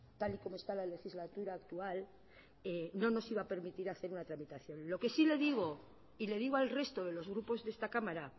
tal y como está la legislatura actual no nos iba a permitir hacer una tramitación lo que sí le digo y le digo al resto de los grupos de esta cámara